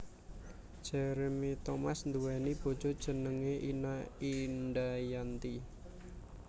Jeremy Thomas nduwèni bojo jenengé Ina Indayanti